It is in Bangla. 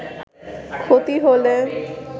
ক্ষতি হলে